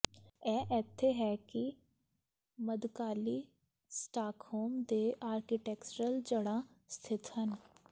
ਇਹ ਇੱਥੇ ਹੈ ਕਿ ਮੱਧਕਾਲੀ ਸਟਾਕਹੋਮ ਦੇ ਆਰਕੀਟੈਕਚਰਲ ਜੜ੍ਹਾਂ ਸਥਿਤ ਹਨ